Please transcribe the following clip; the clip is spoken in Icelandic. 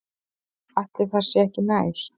Ætli það sé ekki nær.